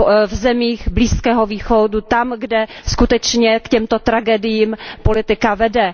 v zemích Blízkého východu, tam, kde skutečně k těmto tragédiím politika vede.